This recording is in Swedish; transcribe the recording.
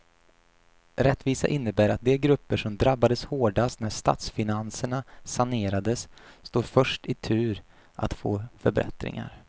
Rättvisa innebär att de grupper som drabbades hårdast när statsfinanserna sanerades står först i tur att få förbättringar.